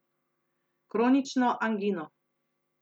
Kronično angino.